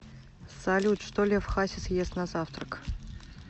салют что лев хасис ест на завтрак